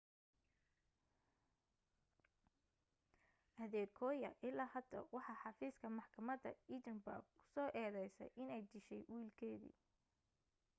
adekoya ilaa hadda waxa xafiiska maxkamada edinburgh ku soo eedaysay inay dishahy wiilkeedii